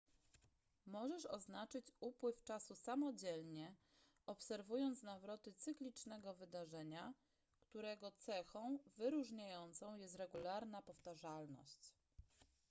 możesz oznaczyć upływ czasu samodzielnie obserwując nawroty cyklicznego wydarzenia którego cechą wyróżniającą jest regularna powtarzalność